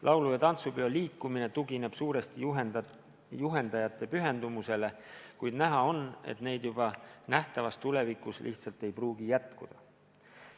Laulu- ja tantsupeo liikumine tugineb suuresti juhendajate pühendumusele, kuid näha on, et neid juba nähtavas tulevikus lihtsalt ei pruugi jätkuda.